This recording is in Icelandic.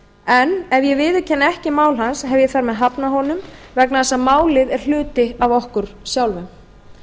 en ef ég viðurkenni ekki mál hans hef ég þar með hafnað honum vegna þess að málið er hluti af okkur sjálfum